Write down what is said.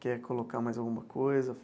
Quer colocar mais alguma coisa?